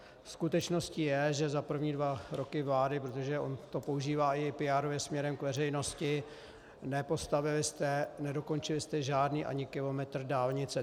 Skutečností je, že za první dva roky vlády, protože on to používá i PR směrem k veřejnosti, nepostavili jste, nedokončili jste žádný ani kilometr dálnice.